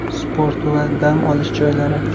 Sport va dam olish joylari.